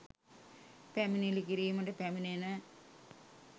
පැමිණිලි කිරීමට පැමිණෙන